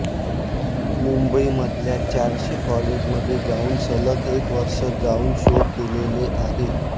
मुंबईमधल्या चारशे कॉलेजमध्ये जाऊन सलग एक वर्ष जाऊन शो केलेले आहेत